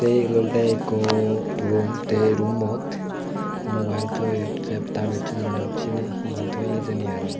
ey ebot olode ikko rum te ey rummot mubael toyon te ta bissonanot seni hi hi toye hijeni arow.